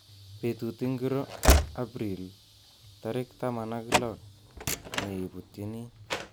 Betut ingiro Abiril takir taman ak lol neibutini